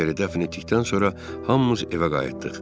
Peteri dəfn etdikdən sonra hamımız evə qayıtdıq.